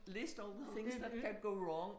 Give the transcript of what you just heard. List over things that can go wrong